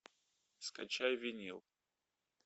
скачай винил